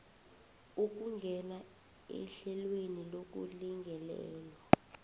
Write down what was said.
ukungena ehlelweni lokulingelelwa